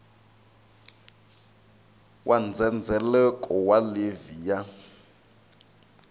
wa ndzhendzheleko wa livhi ya